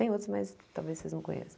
Tem outros, mas talvez vocês não conheçam.